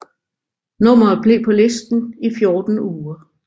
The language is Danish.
Nummeret blev på listen i 14 uger